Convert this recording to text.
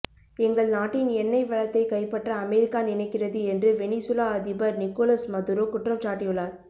எங்கள் நாட்டின் எண்ணெய் வளத்தைக் கைப்பற்ற அமெரிக்கா நினைக்கிறது என்று வெனிசுலா அதிபர் நிக்கோலஸ் மதுரோ குற்றம் சாட்டியுள்ளார்